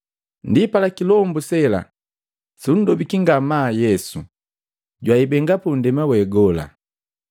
Ndipala kilombu sela sundobiki ngamaa Yesu jwaimbenga pundema we gola.